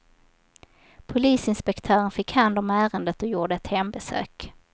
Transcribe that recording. Polisinspektören fick hand om ärendet och gjorde ett hembesök.